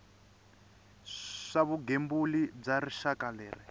swa vugembuli bya rixaka leyi